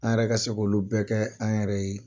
An yɛrɛ ka se k'olu bɛɛ kɛ an yɛrɛ ye.